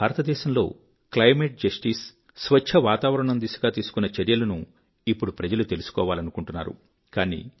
మన భారత దేశంలో climate justice స్వచ్చ వాతావరణం దిశగా తీసుకున్న చర్యలను ఇప్పుడు ప్రజలు తెలుసుకోవాలనుకుంటున్నారు